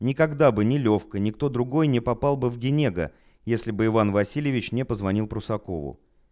никогда бы не лёвка никто другой не попал бы в денега если бы иван васильевич не позвонил прусакову